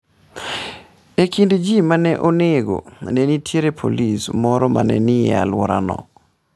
E kind ji ma ne onego, ne nitie polisi moro ma ne ni e alworano.